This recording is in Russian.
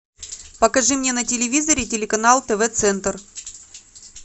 покажи мне на телевизоре телеканал тв центр